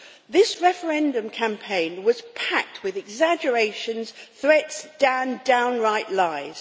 This referendum campaign was packed with exaggerations, threats and downright lies.